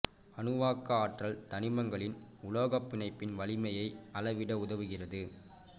அணுவாக்க ஆற்றல் தனிமங்களின் உலோகப் பிணைப்பின் வலிமையை அளவிட உதவுகிறது